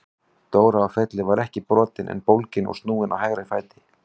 Dóra á Felli var ekki brotin en bólgin og snúin á hægra fæti.